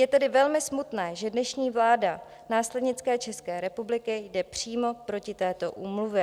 Je tedy velmi smutné, že dnešní vláda následnické České republiky jde přímo proti této úmluvě.